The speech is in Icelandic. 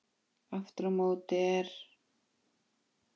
Aftur á móti er